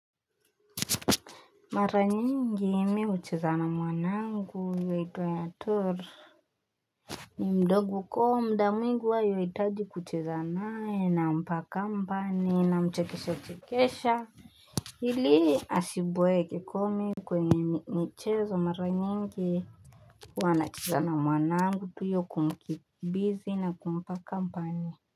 Mara nyingi mi hucheza na mwanangu yuaitwa Tor. Ni mdogo kwa mda mwingi huwa yuitaji kucheza nae nampa company namchekesha chekesha. Hili asiboeke komi kwenye michezo mara nyingi. Wanacheza na mwanangu pia hiyo kumkimbizi na kumpa company.